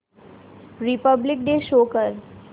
Republic day show कर